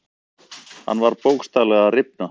Hann var bókstaflega að rifna.